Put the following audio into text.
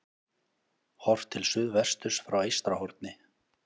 Horft til suðvesturs frá Eystrahorni.